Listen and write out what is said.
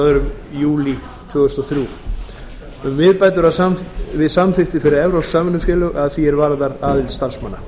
annan júlí tvö þúsund og þrjú um viðbætur við samþykktir fyrir evrópufélög að því er varðar aðild starfsmanna